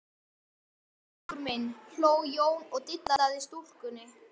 Góðan daginn drengur minn, hló Jón og dillaði stúlkunni.